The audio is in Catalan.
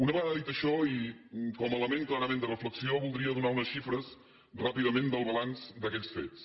una vegada dit això i com a element clarament de reflexió voldria donar unes xifres ràpidament del balanç d’aquells fets